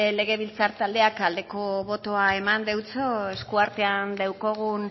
legebiltzar taldeak aldeko botoa eman deutso eskuartean daukagun